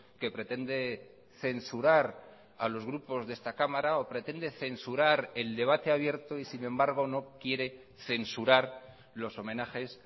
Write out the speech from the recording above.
que pretende censurar a los grupos de esta cámara o pretende censurar el debate abierto y sin embargo no quiere censurar los homenajes